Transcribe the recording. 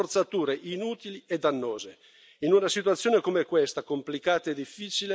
Insisto altre ipotesi rappresenterebbero solo forzature inutili e dannose.